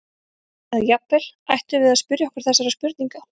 Eða jafnvel: Ættum við að spyrja okkur þessara spurninga?